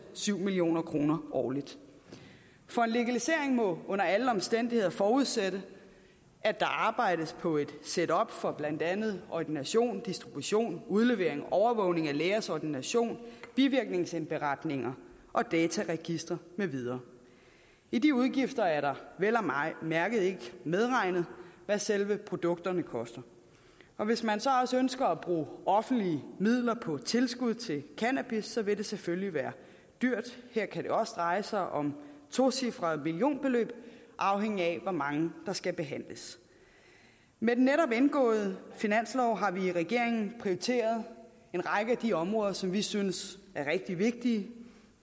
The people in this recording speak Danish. syv million kroner årligt for en legalisering må under alle omstændigheder forudsætte at der arbejdes på et setup for blandt andet ordination distribution udlevering overvågning af lægers ordination bivirkningsindberetninger dataregistre med videre i de udgifter er der vel at mærke ikke medregnet hvad selve produkterne koster og hvis man så også ønsker at bruge offentlige midler på tilskud til cannabis vil det selvfølgelig være dyrt her kan det også dreje sig om tocifrede millionbeløb afhængigt af hvor mange der skal behandles med den netop indgåede finanslov har vi i regeringen prioriteret en række af de områder som vi synes er rigtig vigtige